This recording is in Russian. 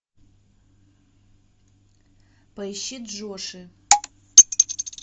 поищи джоши